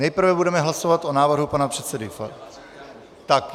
Nejprve budeme hlasovat o návrhu pana předsedy...